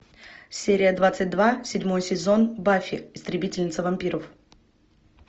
серия двадцать два седьмой сезон баффи истребительница вампиров